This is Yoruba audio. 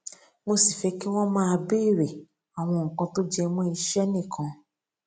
mo sì fé kí wón máa béèrè àwọn nǹkan tó jẹ mó iṣé nìkan